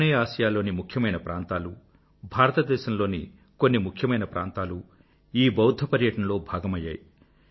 ఆగ్నేయ ఆసియా లోని ముఖ్యమైన ప్రాంతాలూ భారతదేశం లోని కొన్ని ముఖ్యమైన ప్రాంతాలూ ఈ బౌధ్ధ పర్యాటనలో భాగమైయ్యాయి